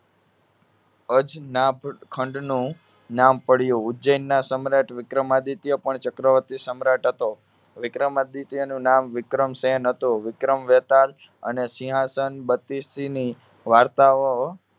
અજનાભ ખંડનું નામ પડ્યું. ઉજ્જૈનના સમ્રાટ વિક્રમાદિત્ય પણ ચક્રવર્તી સમ્રાટ હતો. વિક્રમાદિત્યનું નામ વિક્રમસેન હતું. વિક્રમ વેતાળ અને સિંહાસન બત્તીસીની વાર્તાઓ